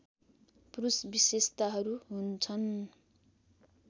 पुरुष विशेषताहरू हुन्छन्